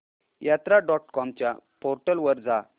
यात्रा dot com च्या portal वर जा